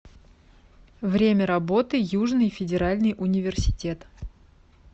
время работы южный федеральный университет